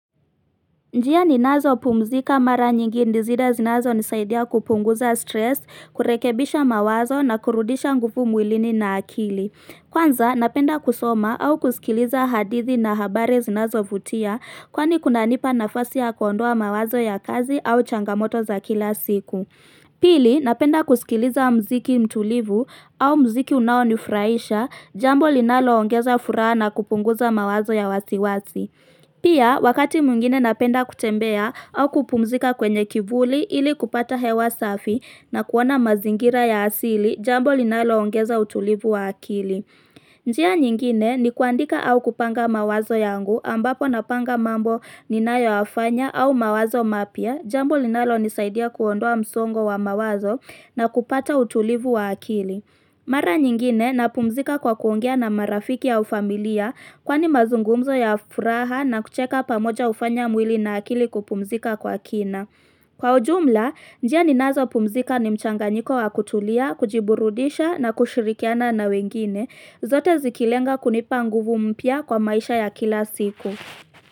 Njia ninazo pumzika mara nyingi ndizi zinazo nisaidia kupunguza stress, kurekebisha mawazo na kurudisha nguvu mwilini na akili. Kwanza, napenda kusoma au kusikiliza hadithi na habari zinazo vutia kwani kuna nipa nafasi ya kuondoa mawazo ya kazi au changamoto za kila siku. Pili, napenda kusikiliza mziki mtulivu au mziki unaonifraisha jambo linalo ongeza furaha na kupunguza mawazo ya wasiwasi. Pia wakati mwingine napenda kutembea au kupumzika kwenye kivuli ili kupata hewa safi na kuona mazingira ya asili jambo linalo ongeza utulivu wa akili. Njia nyingine ni kuandika au kupanga mawazo yangu ambapo napanga mambo ninayo afanya au mawazo mapya jambo linalo nisaidia kuondoa msongo wa mawazo na kupata utulivu wa akili. Mara nyingine na pumzika kwa kuongea na marafiki au familia kwa ni mazungumzo ya furaha na kucheka pamoja ufanya mwili na akili kupumzika kwa kina. Kwa ujumla, njia ninazo pumzika ni mchanga nyiko wa kutulia, kujiburudisha na kushirikiana na wengine, zote zikilenga kunipa nguvu mpya kwa maisha ya kila siku.